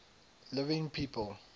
living people